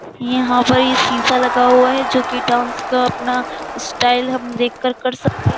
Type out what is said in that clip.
यहा पर ये सीसा लगा हुआ है जोकि डांस का अपना स्टाइल हम देखकर कर सकते --